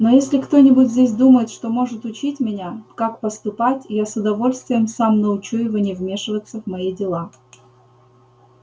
но если кто-нибудь здесь думает что может учить меня как поступать я с удовольствием сам научу его не вмешиваться в мои дела